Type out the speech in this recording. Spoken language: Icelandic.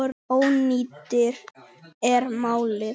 Oddný er málið.